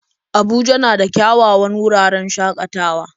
Abuja na da kyawawan wuraren shakatawa